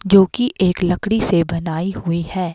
जोकि एक लकड़ी से बनाई हुई है।